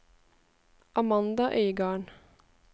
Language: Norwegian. Amanda Øygarden